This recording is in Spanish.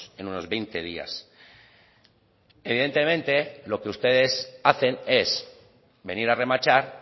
en unos veinte días evidentemente lo que ustedes hacen es venir a remachar